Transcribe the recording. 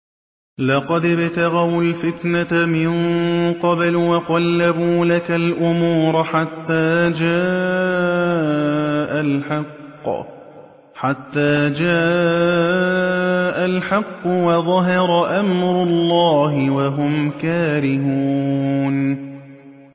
لَقَدِ ابْتَغَوُا الْفِتْنَةَ مِن قَبْلُ وَقَلَّبُوا لَكَ الْأُمُورَ حَتَّىٰ جَاءَ الْحَقُّ وَظَهَرَ أَمْرُ اللَّهِ وَهُمْ كَارِهُونَ